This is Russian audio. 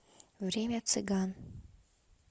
время цыган